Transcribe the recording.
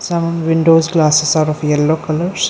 some windows glasses are of yellow colours.